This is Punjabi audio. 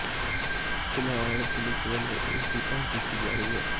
ਫਿਲਹਾਲ ਪੁਲਿਸ ਵੱਲੋਂ ਉਸਦੀ ਭਾਲ ਕੀਤੀ ਜਾ ਰਹੀ ਹੈ